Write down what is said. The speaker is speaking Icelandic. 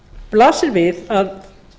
blasir við að